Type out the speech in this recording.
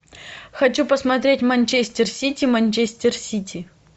хочу посмотреть манчестер сити манчестер сити